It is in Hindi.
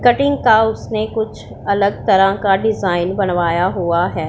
कटिंग का उसने कुछ अलग तरह का डिज़ाइन बनवाया हुआ है।